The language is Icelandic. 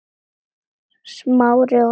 Smári og Auður.